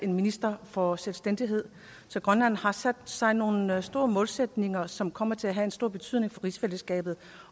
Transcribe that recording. en minister for selvstændighed så grønland har sat sig nogle store målsætninger som kommer til at få en stor betydning for rigsfællesskabet